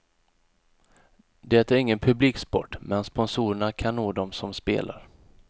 Det är ingen publiksport, men sponsorerna kan nå dem som spelar.